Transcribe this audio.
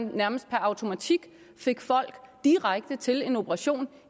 nærmest per automatik fik folk direkte til en operation